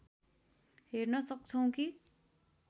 हेर्न सक्छौँ कि